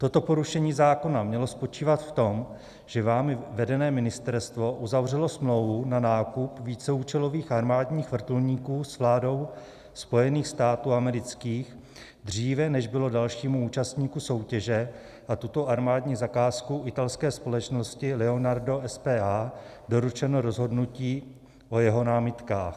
Toto porušení zákona mělo spočívat v tom, že vámi vedené ministerstvo uzavřelo smlouvu na nákup víceúčelových armádních vrtulníků s vládou Spojených států amerických dříve, než bylo dalšímu účastníku soutěže na tuto armádní zakázku, italské společnosti Leonardo SpA, doručeno rozhodnutí o jeho námitkách.